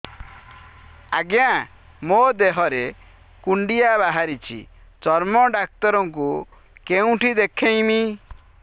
ଆଜ୍ଞା ମୋ ଦେହ ରେ କୁଣ୍ଡିଆ ବାହାରିଛି ଚର୍ମ ଡାକ୍ତର ଙ୍କୁ କେଉଁଠି ଦେଖେଇମି